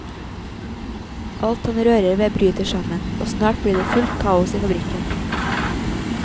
Alt han rører ved bryter sammen, og snart blir det fullt kaos i fabrikken.